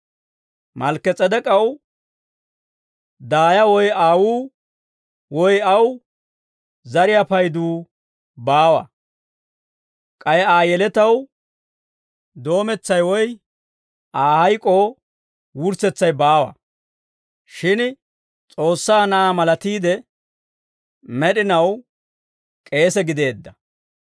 Malkki-S'edek'k'aw daaya woy aawuu, woy aw zariyaa payduu baawa; k'ay Aa yeletaw doometsay woy Aa hayk'oo wurssetsay baawa; shin S'oossaa Na'aa malatiide, med'inaw k'eesa gideedda.